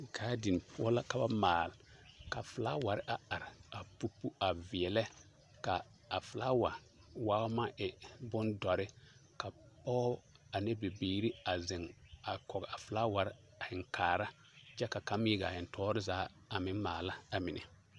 Gaadin poɔ la ka ba maale ka felaaware a are a pupu a veɛlɛ ka a felaawa waao maŋ e bondɔre ka pɔge ane bibiiri a zeŋ a kɔge a felaaware a heŋ kaara kyɛ ka kaŋ meŋ a iri gaa heŋ tɔɔre zaa a meŋ maala amine.